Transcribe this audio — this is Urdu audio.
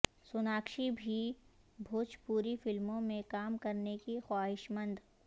سوناکشی بھی بھوجپوری فلموں میں کام کرنے کی خواہشمند